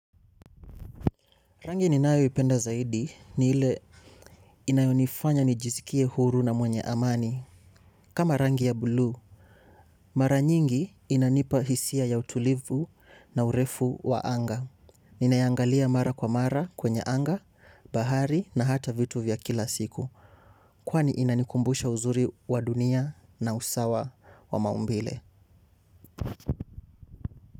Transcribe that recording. Rangi ninayoipenda zaidi ni ile inayonifanya nijisikie huru na mwenye amani. Kama rangi ya buluu, mara nyingi inanipa hisia ya utulivu na urefu wa anga. Ninaiangalia mara kwa mara kwenye anga, bahari na hata vitu vya kila siku. Kwani inanikumbusha uzuri wa dunia na usawa wa maumbile.